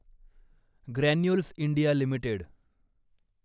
granules India limited